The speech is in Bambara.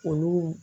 Olu